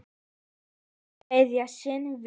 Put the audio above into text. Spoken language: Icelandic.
Að kveðja sinn vin